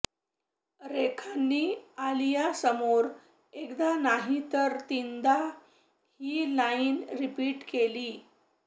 रेखांनी आलियासमोर एकदा नाही तर तिनदा ही लाईन रिपीट केली